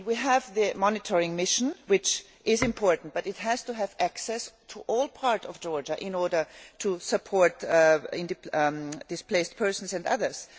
We have a monitoring mission, which is important, but it has to have access to all parts of Georgia in order to support displaced persons and others.